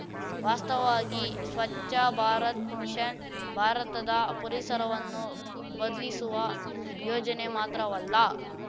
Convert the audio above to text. ವಾಸ್ತವವಾಗಿ ಸ್ವಚ್ಛ ಭಾರತ್ ಮಿಷನ್‌ ಭಾರತದ ಪರಿಸರವನ್ನು ಬದ್ಲಿಸುವ ಯೋಜನೆ ಮಾತ್ರವಲ್ಲ